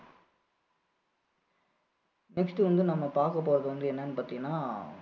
next வந்து நம்ம பாக்கபோறது வந்து என்னென்னு பார்த்திங்கன்னா